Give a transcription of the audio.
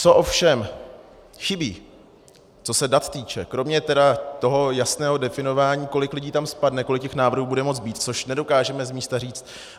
Co ovšem chybí, co se dat týče, kromě tedy toho jasného definování, kolik lidí tam spadne, kolik těch návrhů bude moci být, což nedokážeme z místa říct.